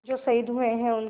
जो शहीद हुए हैं उनकी